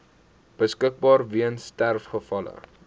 beskikbaar weens sterfgevalle